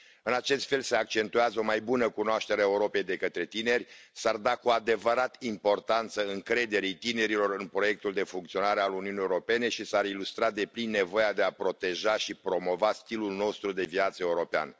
În acest fel se accentuează o mai bună cunoaștere a Europei de către tineri, s ar da cu adevărat importanță încrederii tinerilor în proiectul de funcționare al Uniunii Europene și s ar ilustra deplin nevoia de a proteja și promova stilul nostru de viață european.